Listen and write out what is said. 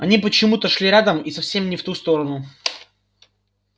они почему то шли рядом и совсем не в ту сторону